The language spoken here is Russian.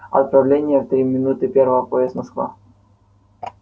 отправление в три минуты первого поезд москва